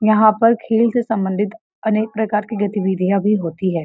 यहाँ पर खेल से सम्बन्धित अनेक प्रकार की गतिविधियाँ भी होती है